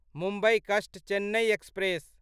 मुम्बई कस्ट चेन्नई एक्सप्रेस